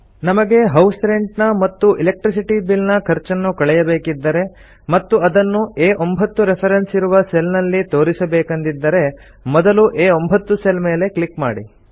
ನಮಗೆ house rent ನ ಮತ್ತು ಎಲೆಕ್ಟ್ರಿಸಿಟಿ ಬಿಲ್ ನ ಖರ್ಚನ್ನು ಕಳೆಯಬೇಕಿದ್ದರೆ ಮತ್ತು ಅದನ್ನು ಆ9 ರೆಫೆರೆನ್ಸ್ ಇರುವ ಸೆಲ್ ನಲ್ಲಿ ತೋರಿಸಬೇಕೆಂದಿದ್ದರೆ ಮೊದಲು ಆ9 ಸೆಲ್ ಮೇಲೆ ಕ್ಲಿಕ್ ಮಾಡಿ